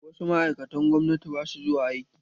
Wasu ma'aikatan gwamnati ba sua zuwa aiki.